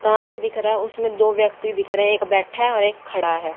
कांच दिख रहा हैं उसमें दो व्यक्ति दिख रहे हैं एक बैठा है और एक खड़ा है।